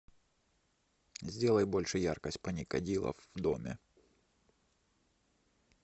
сделай больше яркость паникадила в доме